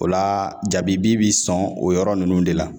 O la jabibi bi sɔn o yɔrɔ nunnu de la.